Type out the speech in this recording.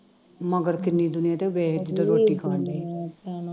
ਮਗਰ ਕਿੰਨੀ ਦੁਨੀਆਂ ਹੀ ਤੇ ਵੇਖ ਕਿਤੇ ਰੋਟੀ ਖਾਣ ਦਈ ਥੋੜੀ ਦੁਨੀਆਂ ਹੀ